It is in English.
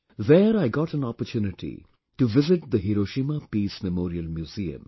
There I got an opportunity to visit the Hiroshima Peace Memorial museum